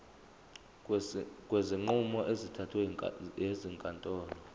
kwezinqumo ezithathwe ezinkantolo